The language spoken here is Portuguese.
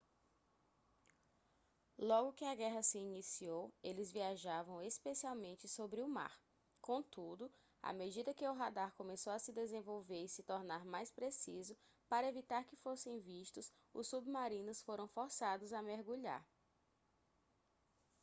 logo que a guerra se iniciou eles viajavam especialmente sobre o mar contudo à medida que o radar começou a se desenvolver e se tornar mais preciso para evitar que fossem vistos os submarinos foram forçados a mergulhar